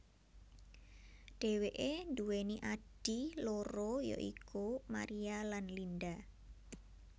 Dheweke duweni adhi loro ya iku Maria lan Linda